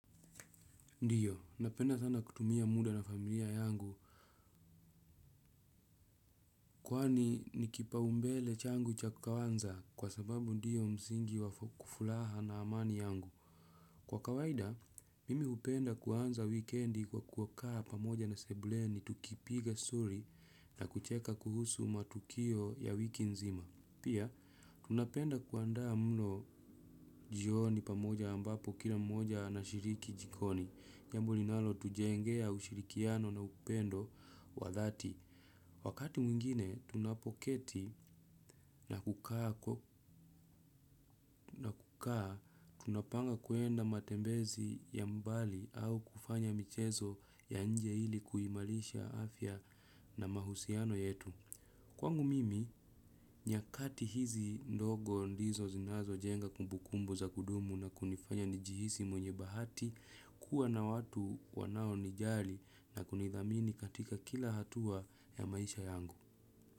Ndiyo, napenda sana kutumia muda na familia yangu. Kwani ni kipaumbele changu cha kwanza kwa sababu ndiyo msingi wa furaha na amani yangu. Kwa kawaida, mimi hupenda kuanza wikendi kwa kukaa pamoja na sebuleni tukipiga story na kucheka kuhusu matukio ya wiki nzima. Pia, tunapenda kuandaa mlo jioni pamoja ambapo kila mmoja anashiriki jikoni. Jambo linalotujengea ushirikiano na upendo wa dhati. Wakati mwingine, tunapoketi na kukaa, tunapanga kwenda matembezi ya mbali au kufanya michezo ya nje ili kuimarisha afya na mahusiano yetu. Kwangu mimi, nyakati hizi ndogo ndizo zinazojenga kumbukumbu za kudumu na kunifanya nijihisi mwenye bahati kuwa na watu wanaonijali na kunithamini katika kila hatua ya maisha yangu.